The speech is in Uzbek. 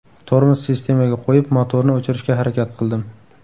Tormoz sistemaga qo‘yib, motorni o‘chirishga harakat qildim.